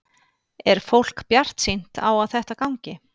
Er fólk bjartsýnt á þetta gangi?